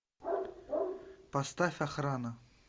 поставь охрана